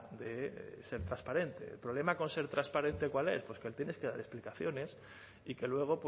de ser transparente el problema con ser transparente cuál es pues que le tienes que dar explicaciones y que luego